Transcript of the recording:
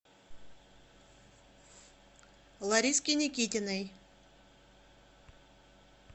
лариске никитиной